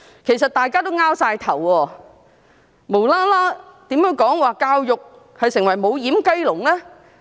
其實大家也摸不着頭腦，為何她無緣無故說教育已成為"無掩雞籠"？